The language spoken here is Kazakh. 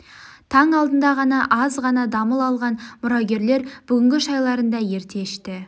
таң алдында ғана аз ғана дамыл алған мұрагерлер бүгінгі шайларын да ерте ішті